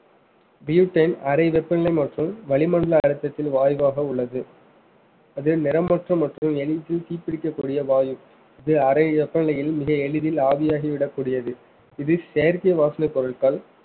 butane அரை வெப்பநிலை மற்றும் வளிமண்டல அழுத்தத்தின் வாயுவாக உள்ளது அது நிறமற்ற மற்றும் எளிதில் தீப்பிடிக்கக்கூடிய வாயு இது அரை வெப்பநிலையில் மிக எளிதில் ஆவியாகி விடக்கூடியது இது செயற்கை வாசனைப் பொருட்கள்